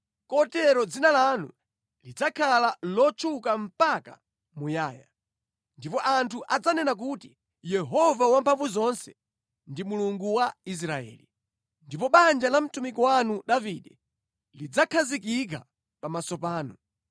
kotero dzina lanu lidzakhala lotchuka mpaka muyaya. Ndipo anthu adzanena kuti, ‘Yehova Wamphamvuzonse ndi Mulungu wa Israeli!’ Ndipo banja la mtumiki wanu Davide lidzakhazikika pamaso panu.